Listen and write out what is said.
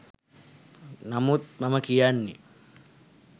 නමුත් මම කියන්නේ